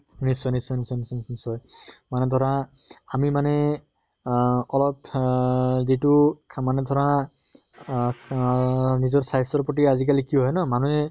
নিশ্চয় নিশ্চয় নিশ্চয় নিশ্চয় নিশ্চয় নিশ্চয়। মানে ধৰা আমি মানে আহ অলপ আহ যিটোক মানে ধৰা আহ আহ নিজৰ স্বাস্থ্য়ৰ প্ৰতি আজি কালি কি হয় ন মানুহে